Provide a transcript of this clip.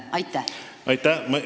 Aitäh!